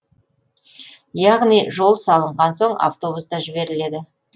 яғни жол салынған соң автобус та жіберіледі